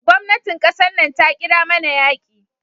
Gwamnatin kasan nan ta kira mana yaki.